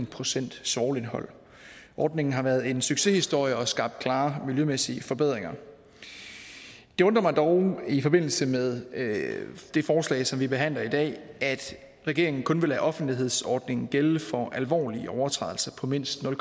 procent svovlindhold ordningen har været en succeshistorie og skabt klare miljømæssige forbedringer det undrer mig dog i forbindelse med det forslag som vi behandler i dag at regeringen kun vil lade offentlighedsordningen gælde for alvorlige overtrædelser på mindst nul